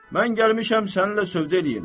Mən gəlmişəm səninlə sövdə eləyim.